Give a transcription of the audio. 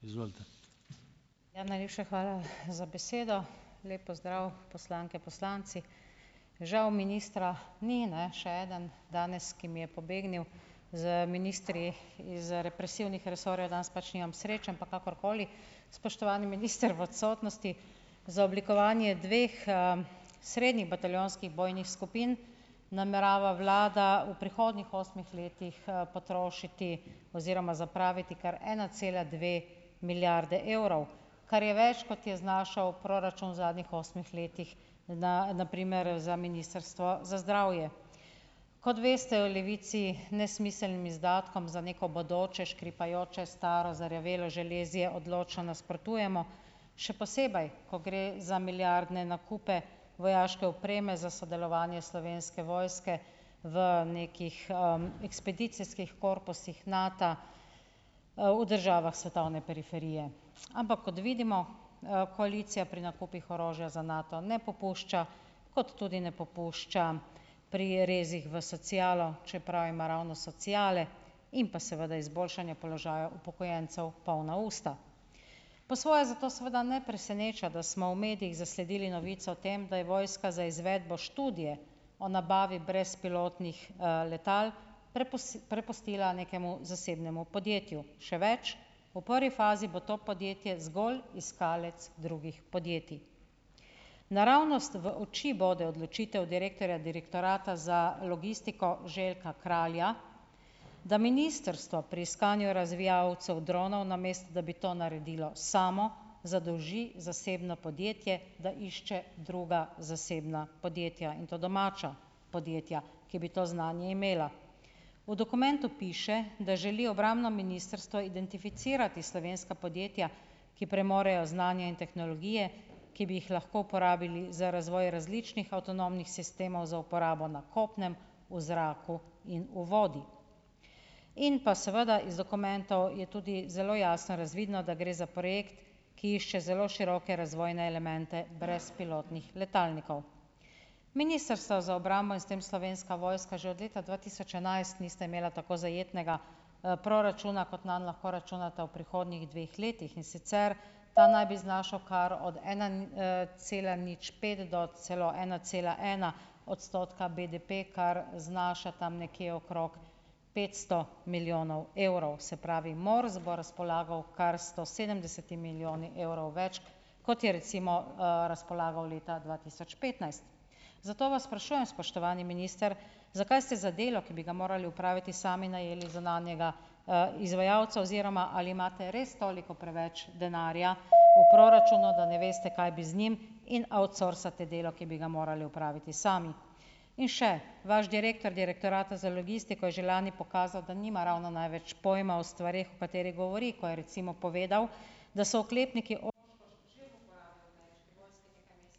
Ja, najlepša hvala, za besedo. Lep pozdrav poslanke, poslanci. Žal ministra ni, ne, še eden danes, ki mi je pobegnil z ministri iz, represivnih represorjev, danes pač nimam sreče, ampak kakorkoli. Spoštovani minister v odsotnosti. Za oblikovanje dveh, srednjih bataljonskih bojnih skupin namerava vlada v prihodnjih osmih letih, potrošiti oziroma zapraviti kar ena cela dve milijarde evrov, kar je več, kot je znašal proračun zadnjih osmih letih, da da primer za Ministrstvo za zdravje. Kot veste, v Levici nesmiselnim izdatkom za neko bodoče, škripajoče, staro, zarjavelo železje odločno nasprotujemo, še posebej, ko gre za milijardne nakupe vojaške opreme za sodelovanje Slovenske vojske v nekih, ekspedicijskih korpusih Nata, v državah svetovne periferije. Ampak kot vidimo, koalicija pri nakupih orožja za Nato ne popušča, kot tudi ne popušča pri rezih v socialo, čeprav ima ravno sociale in pa seveda izboljšanje položaja upokojencev polna usta. Po svoje zato seveda ne preseneča, da smo v medijih zasledili novico o tem, da je vojska za izvedbo študije o nabavi brezpilotnih, letal prepustila nekemu zasebnemu podjetju. Še več, v prvi fazi bo to podjetje zgolj iskalec drugih podjetij. Naravnost v oči bo odločitev direktorja Direktorata za logistiko Željka Kralja, da ministrstvo pri iskanju razvijalcev dronov, namesto da bi to naredilo samo, zadolži zasebno podjetje, da išče druga zasebna podjetja in to domača podjetja, ki bi to znanje imela. V dokumentu piše, da želi obrambno ministrstvo identificirati slovenska podjetja, ki premorejo znanje in tehnologije, ki bi jih lahko uporabili in za razvoj različnih avtonomnih sistemov za uporabo na kopnem, v zraku in v vodi. In pa seveda iz dokumentov je tudi zelo jasno razvidno, da gre za projekt, ki išče zelo široke razvojne elemente brezpilotnih letalnikov. Ministrstvo za obrambo in s tem Slovenska vojska že od leta dva tisoč enajst nista imela tako zajetnega, proračuna, kot nam lahko računata v prihodnjih dveh letih, in sicer ta naj bi znašal kar od ena cela nič pet do celo ena cela ena odstotka BDP, kar znaša tam nekje okrog petsto milijonov evrov, se pravi MORS bo razpolagal kar sto sedemdesetimi milijoni evrov več, kot je recimo, razpolagal leta dva tisoč petnajst. Zato vas sprašujem, spoštovani minister, zakaj ste za delo, ki bi ga morali opraviti sami, najeli zunanjega, izvajalca oziroma ali imate res toliko preveč denarja v proračunu, da ne veste, kaj bi z njim, in outsourcate delo, ki bi ga morali opraviti sami? In še, vaš direktor Direktorata za za logistiko je že lani pokazal, da nima ravno največ pojma o stvareh o katerih govori, kot je recimo povedal, da so oklepniki ...